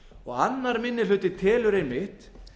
fyrirvörum annar minni hluti telur einmitt